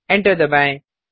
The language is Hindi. एंटर दबाएँ